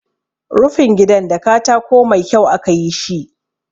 Rufin gidan da katako mai kyau aka yi shi.